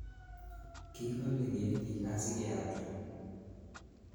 Kikole ketiik asikealda